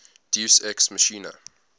deus ex machina